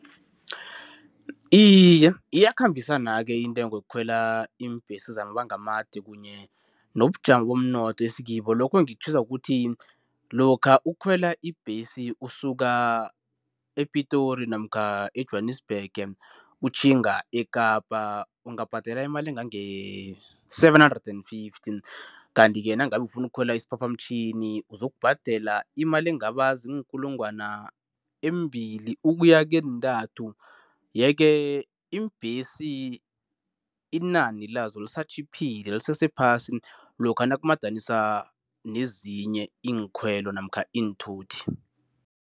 Iye, iyakhambisana-ke intengo yokukhwela iimbhesi zamabanga amade kunye nobujamo bomnotho esikibo, lokho ngikutjhiswa kukuthi, lokha ukukhwela ibhesi usuka ePitori namkha eJwanisbhege utjhinga eKapa ungabhadela imali engange-seven hundred and fifty. Kanti-ke, nangabe ufuna ukukhwela isiphaphamtjhini uzokubhadela imali engaba ziinkulungwana ezimbili ukuya keentathu. Yeke, iimbhesi inani lezo lisatjhiphile lisese phasi lokha nakumadaniswa nezinye iinkhwelo namkha iinthuthi.